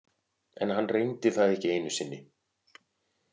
En hann reyndi það ekki einu sinni.